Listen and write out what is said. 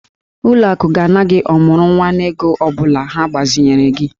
Ụlọ akụ ga-ana gị ọmụrụnwa n'ego ọ bụla ha gbazinyere gị.